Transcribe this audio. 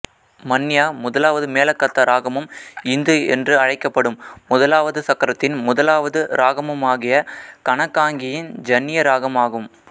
மன்யா முதலாவது மேளகர்த்தா இராகமும் இந்து என்று அழைக்கப்படும் முதலாவது சக்கரத்தின் முதலாவது இராகமுமாகிய கனகாங்கியின் ஜன்னிய இராகம் ஆகும்